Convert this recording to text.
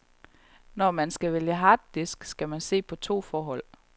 Når man skal vælge harddisk, skal man se på to forhold.